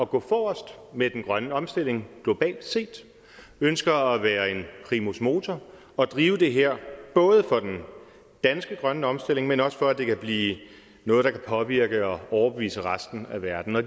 gå forrest med den grønne omstilling globalt set ønsker at være en primus motor og drive det her både for den danske grønne omstilling men også for at det kan blive noget der kan påvirke og overbevise resten af verden og